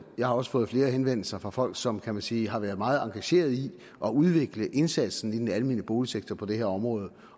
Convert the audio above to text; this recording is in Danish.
har også fået flere henvendelser fra folk som kan man sige har været meget engageret i at udvikle indsatsen i den almene boligsektor på det her område